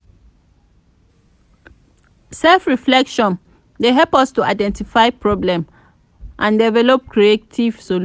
self-reflection dey help us to identify problem and develop creative solution.